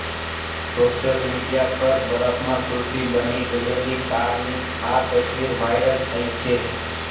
social media પર બરફમાં કુલ્ફી બની ગયેલી કારની આ તસવીર વાયરલ થઈ છે